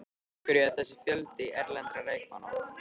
Af hverju er þessi fjöldi erlendra leikmanna?